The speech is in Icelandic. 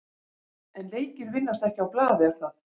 En leikir vinnast ekki á blaði er það?